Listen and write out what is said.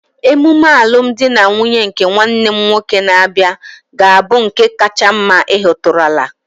Emume alụm di na nwunye nke nwanne m nwoke na-abịa ga-abụ nke kacha mma ị hụtụrụla